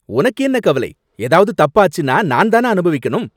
உனக்கு என்ன கவலை, எதாவது தப்பாச்சுன்னா நான் தான அனுபவிக்கணும்.